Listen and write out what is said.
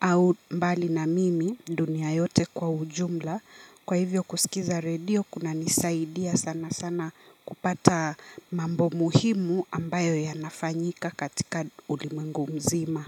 au mbali na mimi dunia yote kwa ujumla. Kwa hivyo kusikiza redio kunanisaidia sana sana kupata mambo muhimu ambayo yanafanyika katika ulimwengu mzima.